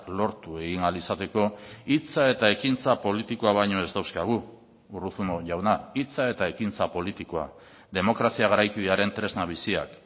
lortu egin ahal izateko hitza eta ekintza politikoa baino ez dauzkagu urruzuno jauna hitza eta ekintza politikoa demokrazia garaikidearen tresna biziak